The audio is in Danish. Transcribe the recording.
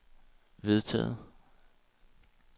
vedtaget